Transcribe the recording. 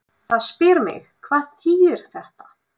Það spyr mig, hvað þýðir þetta?